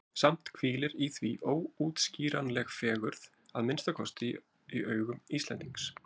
Samt hvílir í því óútskýranleg fegurð, að minnsta kosti í augum Íslendings.